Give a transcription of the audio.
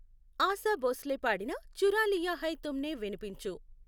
ఆశా భోస్లే పాడిన చురా లియా హై తుమ్నేవినిపించు